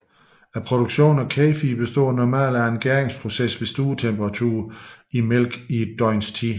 Produktion af kefir består normalt af en gæringsproces ved stuetemperatur i mælk i et døgns tid